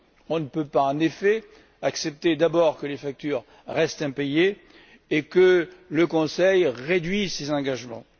On ne peut pas en effet accepter, d'abord, que les factures restent impayées et, ensuite, que le Conseil réduise ses engagements.